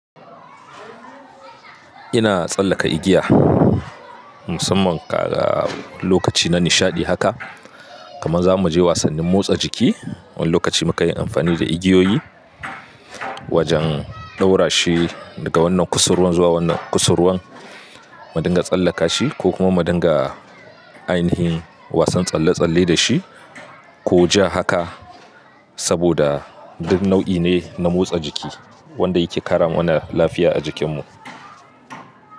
Ina tsallaka igiya musamman ka ga lokaci na nishaɗi haka. Kaman za mu je wasannin motsa jiki wani lokaci muka yi amfani da igiyoyi wajen ɗaura shi daga wannan kusurwan zuwa wannan kusurwan. Mu dinga tsallaka shi ko kuma mu dinga ainihin wasan tsalle-tsalle da shi. Ko ja haka saboda duk nau'i ne na motsa jiki wanda yake karamana lafiya a jikinmu.